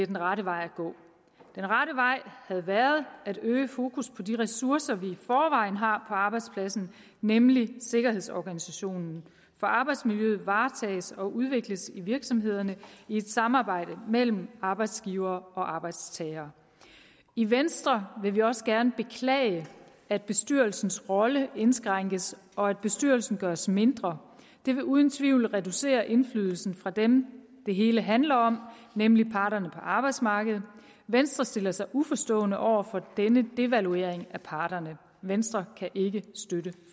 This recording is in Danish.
den rette vej havde været at øge fokus på de ressourcer vi i forvejen har på arbejdspladsen nemlig sikkerhedsorganisationen for arbejdsmiljøet varetages og udvikles i virksomhederne i et samarbejde mellem arbejdsgivere og arbejdstagere i venstre vil vi også gerne beklage at bestyrelsens rolle indskrænkes og at bestyrelsen gøres mindre det vil uden tvivl reducere indflydelsen fra dem det hele handler om nemlig parterne på arbejdsmarkedet venstre stiller sig uforstående over for denne devaluering af parterne venstre kan ikke støtte